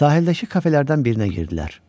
Sahildəki kafelərdən birinə girdilər.